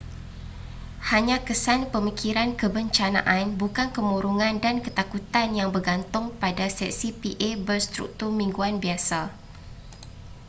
hanya kesan pemikiran kebencanaan bukan kemurungan dan ketakutan yang bergantung pada sesi pa berstruktur mingguan biasa